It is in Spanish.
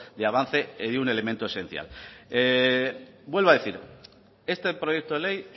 de avance un elemento esencial vuelvo a decir este proyecto de ley